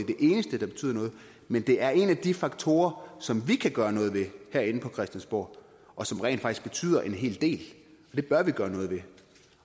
eneste der betyder noget men det er en af de faktorer som vi kan gøre noget ved herinde fra christiansborg og som rent faktisk betyder en hel del og det bør vi gøre noget ved